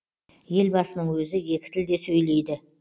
елбасының өзі екі тілде сөйлейді